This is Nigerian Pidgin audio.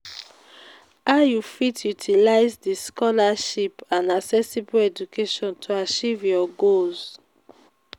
how you fit utilize di scholarship and accessible education to achieve your goals?